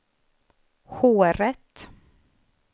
håret